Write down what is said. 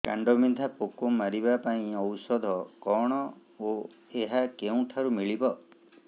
କାଣ୍ଡବିନ୍ଧା ପୋକ ମାରିବା ପାଇଁ ଔଷଧ କଣ ଓ ଏହା କେଉଁଠାରୁ ମିଳିବ